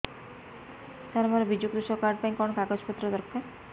ସାର ମୋର ବିଜୁ କୃଷକ କାର୍ଡ ପାଇଁ କଣ କାଗଜ ପତ୍ର ଦରକାର